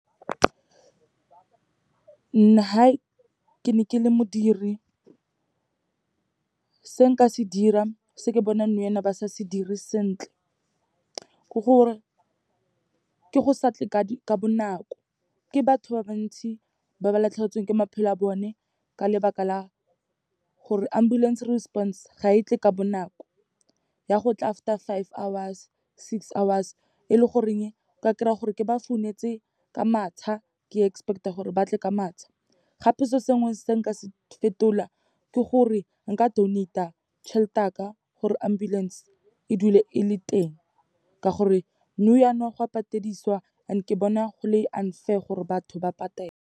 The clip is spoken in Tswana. Ha ke ne ke le modiri, se nka se dira, se ke bonang nou yaana ba sa se dire sentle, ke gore ke go sa tle ka bonako. Ke batho ba bantsi ba ba latlhegetsweng ke maphelo a bone ka lebaka la gore ambulance response ga e tle ka bonako, ya go tla after five hours, six hours, e le goreng o ka kry-a gore ke ba founetse ka matsha, ke expect-a gore batle ka matsha. Gape, se sengwe se nka se fetola ke gore, nka donate-a tšhelete ya ka gore ambulance e dule e le teng, ka gore nou yaana go a patediswa and ke bona go le unfair gore batho ba patele.